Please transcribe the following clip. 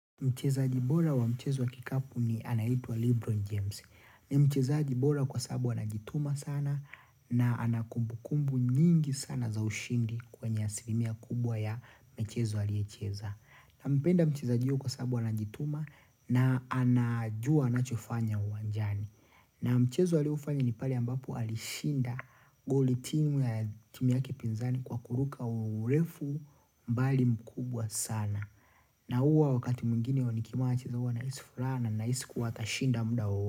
Mchezaji bora wa mchezo wa kikapu ni anaitwa Libro James. Ni mchezaji bora kwa sababu anajituma sana na ana kumbukumbu nyingi sana za ushindi kwenye asilimia kubwa ya michezo aliyocheza. Nampenda mchezaji huyo kwa sababu anajituma na anajua anachofanya uwanjani. Na mchezo alioufanya ni pale ambapo alishinda goli timu ya timu yake pinzani kwa kuruka urefu mbali mkubwa sana. Na huwa wakati mwingine nikimwacha huwa nahisi furaha na nahisi kuwa atashinda muda wa.